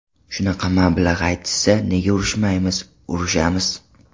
Shunaqa mablag‘ aytishsa, nega urushmaymiz, urushamiz.